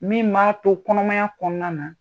Min m'a to kɔnɔmaya kɔnɔna na